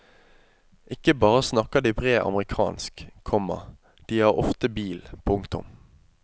Ikke bare snakker de bred amerikansk, komma de har ofte bil. punktum